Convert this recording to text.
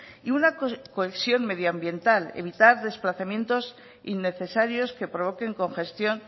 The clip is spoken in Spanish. y una cohesión medioambiental evitar desplazamientos innecesarios que provoquen congestión